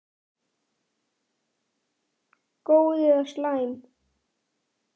Góð eða slæm?